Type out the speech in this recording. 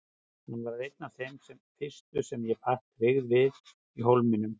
Hann varð einn af þeim fyrstu sem ég batt tryggð við í Hólminum.